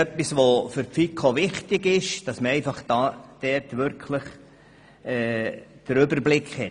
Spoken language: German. Für die FiKo ist es wichtig, hier den Überblick zu haben.